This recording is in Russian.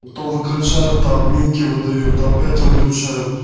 то выключают то админки выдают то опять выключают